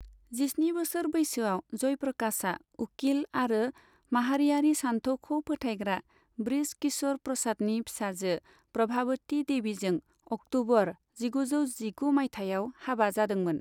जिस्नि बोसोर बैसोआव, जयप्रकाशआ उखिल आरो माहारियारि सान्थौखौ फोथायग्रा बृज किश'र प्रसादनि फिसाजो प्रभावती देवीजों अक्ट'बर जिगुजौ जिगु मायथाइयाव हाबा जादोंमोन।